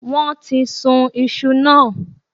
Wón ti sun isu náà